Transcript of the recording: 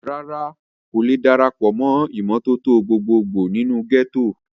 rárá, kò le darapọ̀ mọ́ ìmọ́tótó gbogbo gbò nínú gẹ́tò